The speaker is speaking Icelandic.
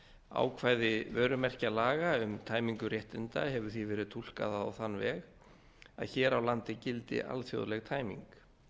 ákvæði vörumerkjalaga um tæmingu réttinda hefur því verið túlkað á þann veg að hér á landi gildi alþjóðleg tæming